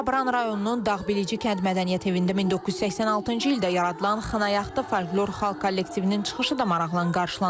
Şabran rayonunun Dağbilici kənd Mədəniyyət Evində 1986-cı ildə yaradılan Xınayaxtı folklor xor kollektivinin çıxışı da maraqla qarşılanıb.